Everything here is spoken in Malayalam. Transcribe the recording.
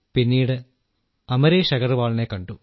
പിന്നീട് അമരേശ് അഗർവാളിനെ കണ്ടു